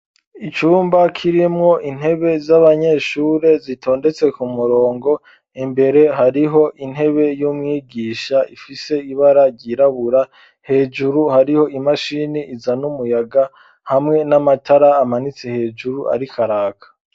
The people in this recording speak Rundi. Icumba kirimwo intebe z'abanyeshure zitondetse ku murongo imbere hariho intebe y'umwigisha ifise ibara ryirabura hejuru hariho imashini iza n'umuyaga hamwe n'amatara amanitse hejuru ari karaka.